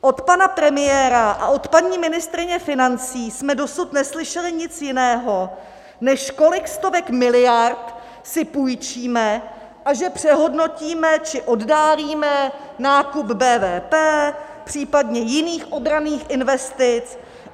Od pana premiéra a od paní ministryně financí jsme dosud neslyšeli nic jiného, než kolik stovek miliard si půjčíme a že přehodnotíme či oddálíme nákup BVP, případně jiných obranných investic.